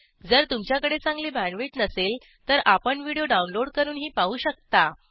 जर तुमच्याकडे चांगली बॅण्डविड्थ नसेल तर आपण व्हिडिओ डाउनलोड करूनही पाहू शकता